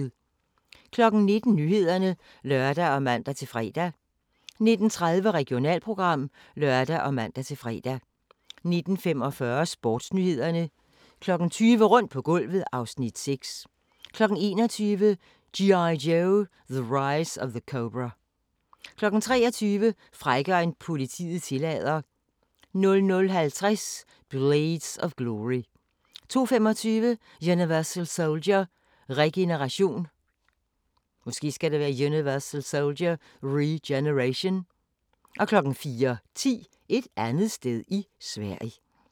19:00: Nyhederne (lør og man-fre) 19:30: Regionalprogram (lør og man-fre) 19:45: Sportsnyhederne 20:00: Rundt på gulvet (Afs. 6) 21:00: G.I. Joe: The Rise of Cobra 23:00: Frækkere end politiet tillader 00:50: Blades of Glory 02:25: Universal Soldier: Regeneration 04:10: Et andet sted i Sverige